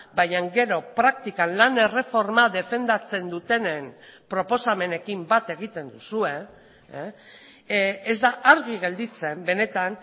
baina gero praktikan lan erreforma defendatzen dutenen proposamenekin bat egiten duzue ez da argi gelditzen benetan